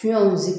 Fiɲɛw si